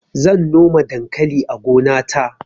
zan noma dankali a gona ta